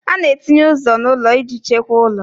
A na-etinye ụzọ n'ụlọ iji chekwaa ụlọ